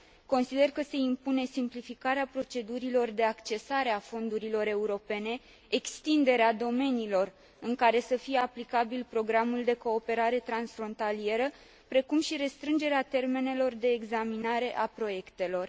Consider că se impune simplificarea procedurilor de accesare a fondurilor europene, extinderea domeniilor în care să fie aplicabil programul de cooperare transfrontalieră precum și restrângerea termenelor de examinare a proiectelor.